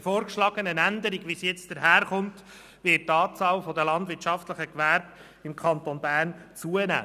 Mit der jetzt vorgeschlagenen Änderung wird die Anzahl der landwirtschaftlichen Gewerbe im Kanton Bern zunehmen.